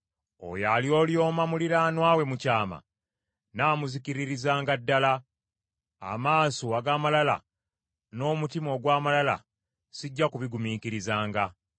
Oyo alyolyoma muliraanwa we mu kyama, nnaamuzikiririzanga ddala; amaaso ag’amalala n’omutima ogw’amalala sijja kubigumiikirizanga.